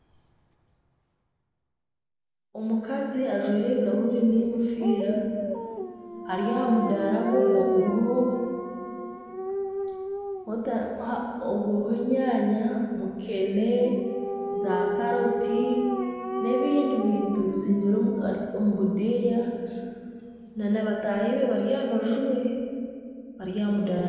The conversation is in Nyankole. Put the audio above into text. omukazi ajwaire ebirahuri n'engofiira ari aha mudaara gwe oguriho wota aha oguriho enyaanya, mukene, zaakaroti n'ebindi bintu bizingire omu ka omu budeeya na bataahi be bari aha rubaju rwe bari aha mudaara.